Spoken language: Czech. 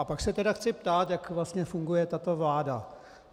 A pak se tedy chci ptát, jak vlastně funguje tato vláda.